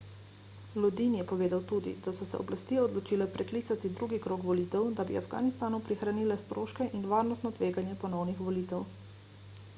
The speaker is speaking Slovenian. lodin je povedal tudi da so se oblasti odločile preklicati drugi krog volitev da bi afganistanu prihranile stroške in varnostno tveganje ponovnih volitev